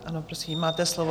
Ano, prosím, máte slovo.